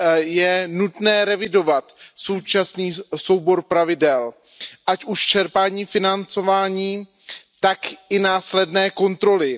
Je nutné revidovat současný soubor pravidel, ať už čerpání financování, tak i následné kontroly.